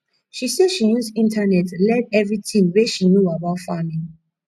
she sey she use internet learn everytin wey she know about farming